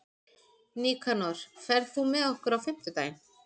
Nikanor, ferð þú með okkur á fimmtudaginn?